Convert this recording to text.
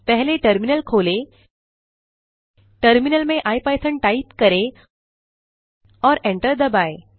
पहले टर्मिनल खोलें टर्मिनल में इपिथॉन टाइप करें और एंटर दबाएँ